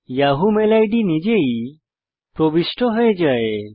Yahoo mail ID নিজেই প্রবিষ্ট হয়ে যায়